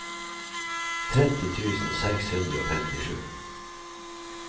tretti tusen seks hundre og femtisju